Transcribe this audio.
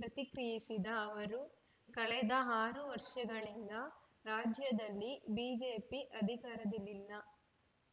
ಪ್ರತಿಕ್ರಿಯಿಸಿದ ಅವರು ಕಳೆದ ಆರು ವರ್ಷಗಳಿಂದ ರಾಜ್ಯದಲ್ಲಿ ಬಿಜೆಪಿ ಅಧಿಕಾರದಲ್ಲಿಲ್ಲ